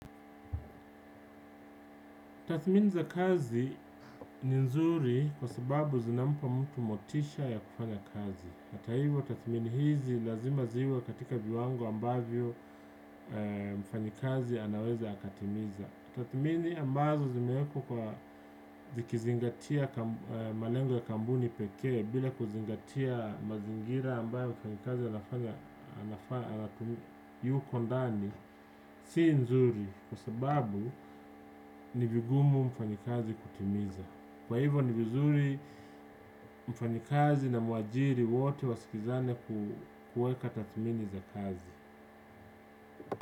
Tathmini za kazi ni nzuri kwa sababu zinampa mtu motisha ya kufanya kazi. Ata hivyo, tathmini hizi lazima ziwe katika viwango ambavyo mfanyakazi anaweza akatimiza. Tathimini ambazo zimeweka zikizingatia malengo ya kampuni pekee bila kuzingatia mazingira ambayo wanafanyakazi anafaa yu kondani, si nzuri, kwa sababu ni vigumu mfanyakazi kutimiza kwa hivyo ni vizuri mfanyakazi na muajiri wote wasikizane kuweka tathimini za kazi.